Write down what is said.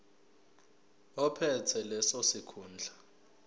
ophethe leso sikhundla